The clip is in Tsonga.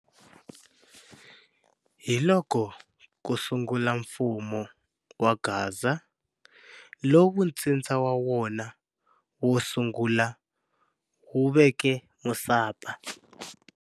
Hiloko kusungula mfumo wa Gaza, lowu ntsindza wa wona wosungula wuveke Musapa.